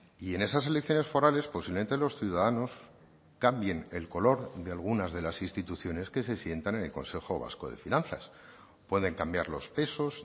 y en esas elecciones forales posiblemente los ciudadanos cambien el color de algunas de las instituciones que se sientan en el consejo vasco de finanzas pueden cambiar los pesos